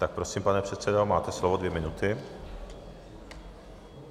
Tak prosím, pane předsedo, máte slovo, dvě minuty.